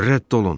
Rədd olun!